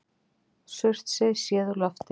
Surtsey séð úr lofti.